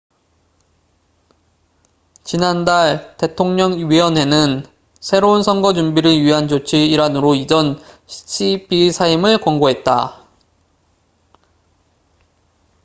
지난달 대통령 위원회는 새로운 선거 준비를 위한 조치의 일환으로 이전 cep의 사임을 권고했다